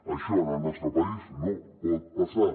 això en el nostre país no pot passar